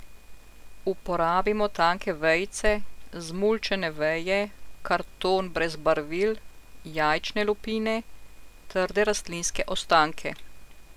Uporabimo tanke vejice, zmulčene veje, karton brez barvil, jajčne lupine, trde rastlinske ostanke.